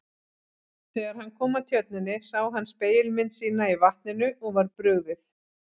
Þegar hann kom að tjörninni sá hann spegilmynd sína í vatninu og var brugðið.